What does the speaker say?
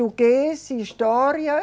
história